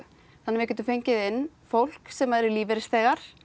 þannig að við getum fengið inn fólk sem eru lífeyrisþegar